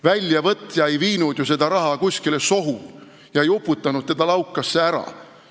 Väljavõtja ei viinud ju seda raha kuskile sohu ega uputanud teda laukasse ära.